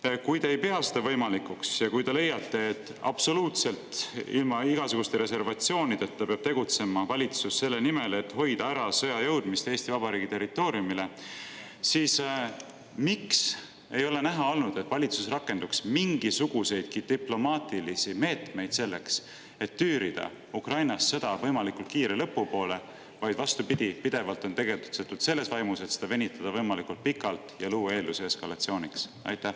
Teiseks, kui te ei pea seda võimalikuks, ja kui te leiate, et absoluutselt ilma igasuguste reservatsioonideta peab valitsus tegutsema selle nimel, et hoida ära sõja jõudmist Eesti Vabariigi territooriumile, siis miks ei ole näha olnud, et valitsus oleks rakendanud mingisuguseidki diplomaatilisi meetmeid selleks, et tüürida sõda Ukrainas võimalikult kiire lõpu poole, vaid pidevalt on tegutsetud, vastupidi, selles vaimus, et seda venitada võimalikult pikaks ja luua eeldusi eskalatsiooniks?